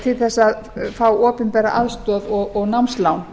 til að fá opinbera aðstoð og námslán